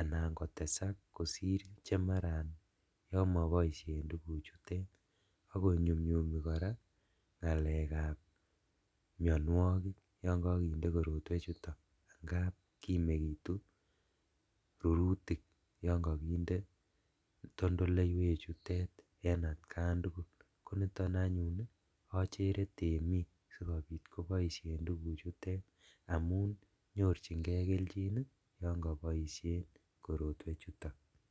anan kotesak kosir chemaran yon koboishen tuguchutet, ak konyumyumi koraa ngalekab mionuokik yon kokinde korotwechuton angab kimekitu rurutik yon kokonde kotondoleiwechutet en atkan tugul, niton anyuun ochere temik sikobit koboishen tuguchutet amun nyorjingee keljin yon koboishen korotwechuto